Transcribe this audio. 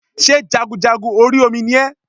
Sé jagunjagun orí Omi ni ẹ́